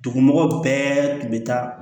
Dugumɔgɔw bɛɛ tun bɛ taa